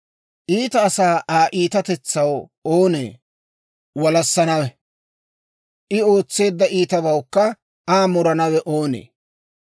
Iita asaa Aa iitatetsaw oonee walassanawe? I ootseedda iitabawukka Aa muranawe oonee?